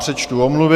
Přečtu omluvy.